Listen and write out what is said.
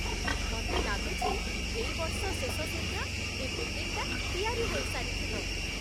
ମତେ ଲାଗୁଛି ଏଇ ବର୍ଷ ଶେଷ ସୁଦ୍ଧା ଏ ବିଲ୍ଡିଂଟା ତିଆରି ହେଇସାରିଥିବ ।